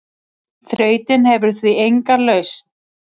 Þrautin hefur því enga lausn.